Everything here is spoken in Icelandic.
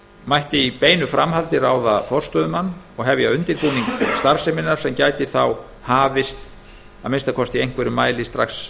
mætti í beinu framhaldi ráða forstöðumann og hefja undirbúning starfseminnar sem gæti þá hafist að minnsta kosti í einhverjum mæli strax